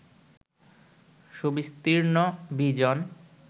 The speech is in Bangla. সুবিস্তীর্ণ, বিজন